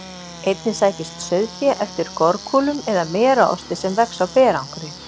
Einnig sækist sauðfé eftir gorkúlum eða merarosti sem vex á berangri.